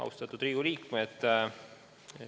Austatud Riigikogu liikmed!